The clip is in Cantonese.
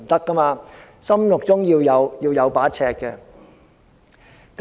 我們心中要有一把尺。